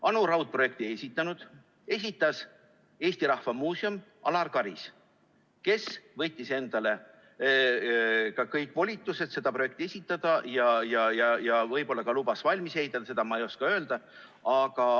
Anu Raud projekti ei esitanud, esitas Eesti Rahva Muuseum, Alar Karis, kes võttis endale ka kõik volitused seda projekti esitada ja võib-olla lubas valmis ka ehitada, seda ma ei oska öelda.